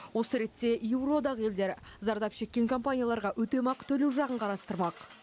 осы ретте еуроодақ елдері зардап шеккен компанияларға өтемақы төлеу жағын қарастырмақ